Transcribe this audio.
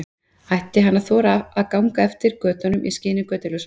Ætti hann að þora að ganga eftir götunum í skini götuljósanna?